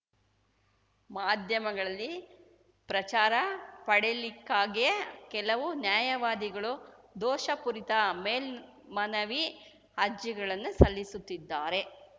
ಮಾಧ್ಯಮಗಳಲ್ಲಿ ಪ್ರಚಾರ ಪಡೆಯಲಿಕ್ಕಾಗಿಯೇ ಕೆಲವು ನ್ಯಾಯವಾದಿಗಳು ದೋಷಪೂರಿತ ಮೇಲ್ಮನವಿ ಅರ್ಜಿಗಳನ್ನು ಸಲ್ಲಿಸುತ್ತಿದ್ದಾರೆ